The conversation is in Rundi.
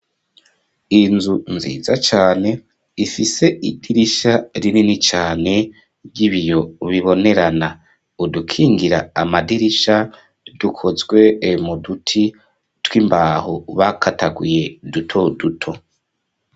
Inzu nziza cane, ifise idirisha, rinini cane, ry'ibiyo bibonerana; udukingira amadirisha, dukozwe mu duti tw'imbaho, bakataguye, duto duto.